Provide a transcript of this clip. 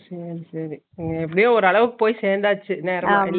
சேரி சேரி எப்புடியோ ஒருஅளவுக்கு போய் செந்தாச்சு நேரமா இல்லையா